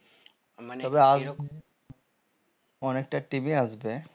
অনেকটা team ই আসবে